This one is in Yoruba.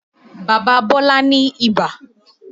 Bàbá Bọ́lá ni ìbà